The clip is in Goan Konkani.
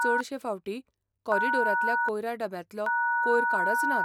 चडशें फावटी कॉरिडॉरांतल्या कोयरा डब्यांतलो कोयर काडच नात.